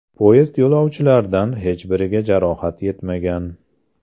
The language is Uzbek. Poyezd yo‘lovchilaridan hech biriga jarohat yetmagan.